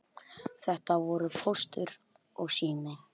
Þetta voru Póstur og Sími.